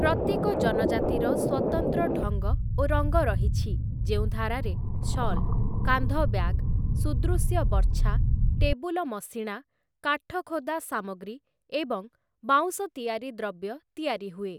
ପ୍ରତ୍ୟେକ ଜନଜାତିର ସ୍ୱତନ୍ତ୍ର ଢଙ୍ଗ ଓ ରଙ୍ଗ ରହିଛି, ଯେଉଁ ଧାରାରେ ଶଲ୍, କାନ୍ଧ ବ୍ୟାଗ, ସୁଦୃଶ୍ୟ ବର୍ଚ୍ଛା, ଟେବୁଲ ମଶିଣା, କାଠ ଖୋଦା ସାମଗ୍ରୀ ଏବଂ ବାଉଁଶ ତିଆରି ଦ୍ରବ୍ୟ ତିଆରି ହୁଏ ।